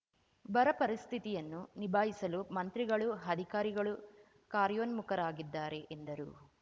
ಬರ ಪರಿಸ್ಥಿತಿಯನ್ನು ನಿಭಾಯಿಸಲು ಮಂತ್ರಿಗಳು ಅಧಿಕಾರಿಗಳು ಕಾರ್ಯೋನ್ಮುಖರಾಗಿದ್ದಾರೆ ಎಂದರು